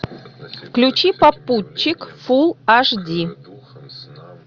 включи попутчик фул аш ди